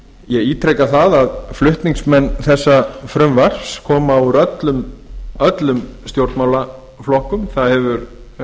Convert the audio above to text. ég ítreka það að flutningsmenn þessa frumvarps koma úr öllum stjórnmálaflokkum það hefur